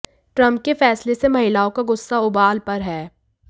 Trump के फैसले से महिलाओं का गुस्सा उबाल पर है